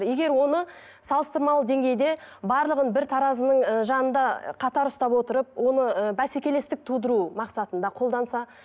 егер оны салыстырмалы деңгейде барлығын бір таразының ы жанында қатар ұстап отырып оны ы бәсекелестік тудыру мақсатында қолданса